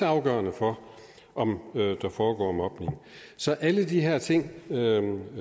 afgørende for om der foregår mobning så alle de her ting